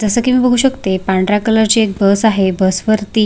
जस की मी बघू शकते पांढऱ्या कलरची एक बस आहे बस वरती--